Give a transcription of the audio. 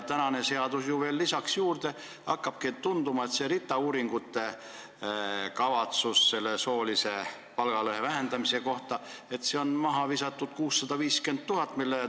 Tänane seadus ju veel lisaks juurde ja hakkabki tunduma, et see RITA kavatsetav uuring soolise palgalõhe vähendamise kohta tähendab mahavisatud 650 000 eurot.